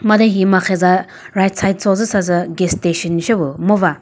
made he marhe za right side cho züsa sü gas station sepüh ngoba.